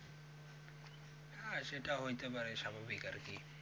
হ্যাঁ সেইটা হইতে পারে স্বাভাবিক আর কি